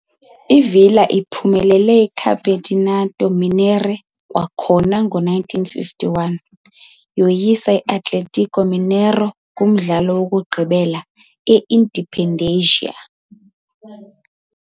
I-Villa iphumelele iCampeonato Mineiro kwakhona ngo-1951, yoyisa i-Atlético Mineiro kumdlalo wokugqibela e- Independência.